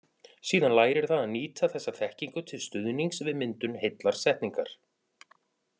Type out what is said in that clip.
Síðan lærir það að nýta þessa þekkingu til stuðnings við myndun heillar setningar.